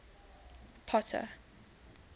potter